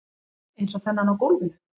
Eins og þennan á gólfinu.